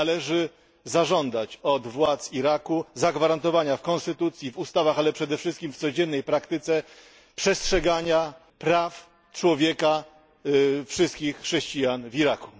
Należy zażądać od władz Iraku, aby zagwarantowały w konstytucji, w ustawach, ale przede wszystkim w codziennej praktyce przestrzeganie praw człowieka względem wszystkich chrześcijan w Iraku.